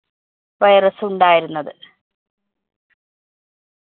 virus ഉണ്ടായിരുന്നത്.